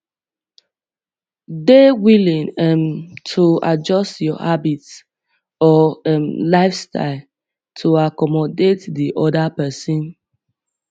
dey willing um to adjust your habits or um lifestyle to accomodate di oda person